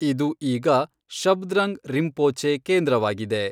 ಇದು ಈಗ ಶಬ್ದ್ರಂಗ್ ರಿಂಪೋಚೆ ಕೇಂದ್ರವಾಗಿದೆ.